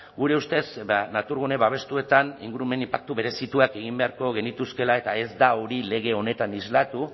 gure ustez naturgune babestuetan ingurumen inpaktu berezituak egin beharko genituzkeela eta ez da hori lege honetan islatu